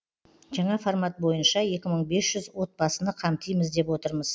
жаңа формат бойынша екі мың бес жүз отбасыны қамтимыз деп отырмыз